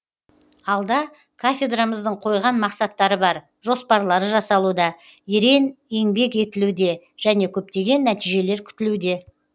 алда кафедрамыздың қойған мақсаттары бар жоспарлары жасалуда ерең еңбек етілуде және көптеген нәтижелер күтілуде